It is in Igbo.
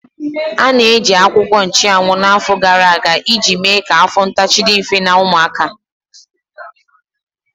A na-eji akwụkwọ nchuanwu afọ gara aga iji mee ka afọ ntachi dị mfe na ụmụaka.